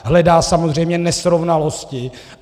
Hledá samozřejmě nesrovnalosti.